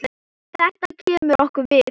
Þetta kemur okkur við.